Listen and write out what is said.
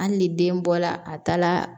Hali ni den bɔla a taa la